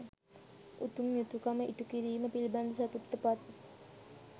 උතුම් යුතුකම ඉටුකිරීම පිළිබඳ සතුටට පත්